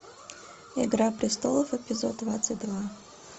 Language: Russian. игра престолов эпизод двадцать два